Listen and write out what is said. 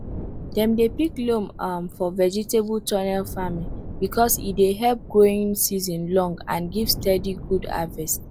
dem dey pick loam um for vegetable tunnel farming because e dey help make growing season long and give steady good harvest